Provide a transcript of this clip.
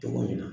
Cogo min na